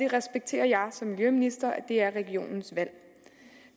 respekterer som miljøminister at det er regionens valg